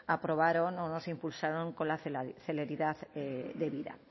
aprobaron o no se impulsaron con la celeridad debida